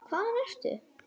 Hvaðan ertu?